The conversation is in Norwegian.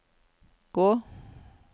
gå